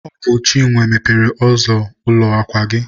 Ọ bụ Chinwe mepere ụzọ ụlọ akwa gị.